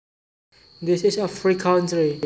This is a free country